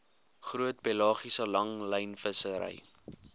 groot pelagiese langlynvissery